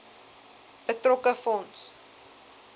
betrokke fonds